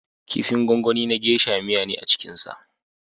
Kifin gwangwani na gesha (geisha) miya ce a cikinsa.